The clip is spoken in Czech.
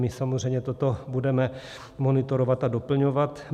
My samozřejmě toto budeme monitorovat a doplňovat.